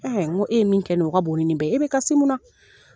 n ko e ye min kɛ nin o ka bon nin ni bɛɛ ye e bɛ kasi mun na.